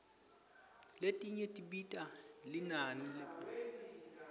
letinye tibita linani leliphakeme